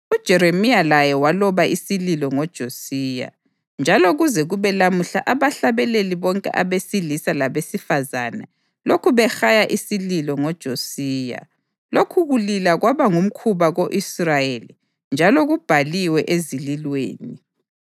UJeremiya laye waloba isililo ngoJosiya, njalo kuze kube lamuhla abahlabeleli bonke abesilisa labesifazane lokhu behaya isililo ngoJosiya. Lokhu kulila kwaba ngumkhuba ko-Israyeli njalo kubhaliwe eZililweni.